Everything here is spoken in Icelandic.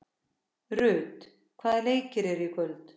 Ruth, hvaða leikir eru í kvöld?